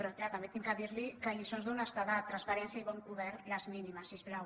però clar també he de dir li que lliçons d’honestedat transparència i bon govern les mínimes si us plau